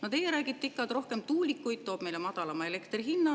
Teie ikka räägite, et rohkem tuulikuid toob meile madalama elektrihinna.